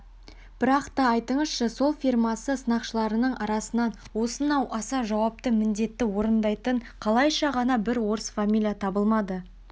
бірақ та айтыңызшы сол фирмасы сынақшыларының арасынан осынау аса жауапты міндетті орындайтын қалайша ғана бір орыс фамилия табылмады